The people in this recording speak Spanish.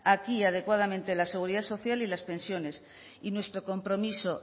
aquí adecuadamente la seguridad social y las pensiones y nuestro compromiso